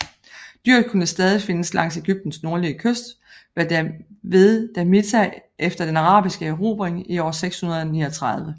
Dyret kunne stadig findes langs Egyptens nordlige kyst ved Damietta efter den arabiske erobring i år 639